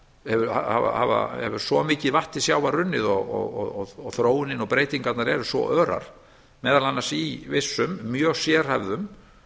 hefur svo mikið vatn til sjávar runnið og þróunin og breytingarnar eru svo örar meðal annars í vissum mjög sérhæfðum